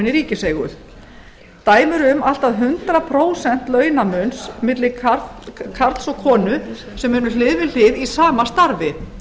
í ríkiseigu dæmi eru um allt að hundrað prósent launamun milli karls og konu sem unnu hlið við hlið í sama starfi